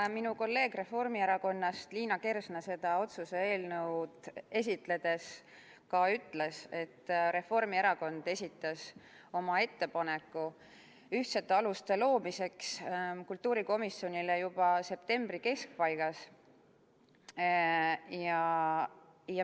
Nagu minu kolleeg Reformierakonnast, Liina Kersna, seda otsuse eelnõu esitledes ka ütles, Reformierakond esitas oma ettepaneku ühtsete aluste loomiseks kultuurikomisjonile juba septembri keskpaigas.